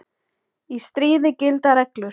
Í stríði gilda reglur.